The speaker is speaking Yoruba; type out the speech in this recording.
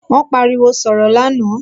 Wón pariwo sọ̀rọ̀ lánàá